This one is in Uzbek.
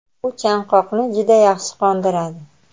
u chanqoqni juda yaxshi qondiradi.